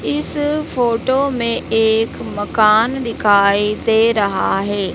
इस फोटो में एक मकान दिखाई दे रहा है।